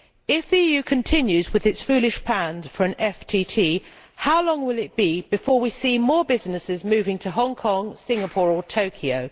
If the EU continues with its foolish plan for a FTT, how long will it be before we see more businesses moving to Hong Kong, Singapore or Tokyo?